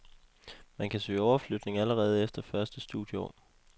Man kan søge overflytning allerede efter første studieår.